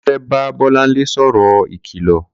Kunle fè bà Bolanle sọrọ ikilọ